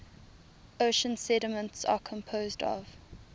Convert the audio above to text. ocean sediments are composed of